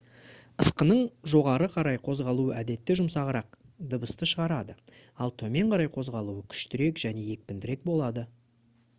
ысқының жоғары қарай қозғалуы әдетте жұмсағырақ дыбысты шығарады ал төмен қарай қозғалуы күштірек және екпіндірек болады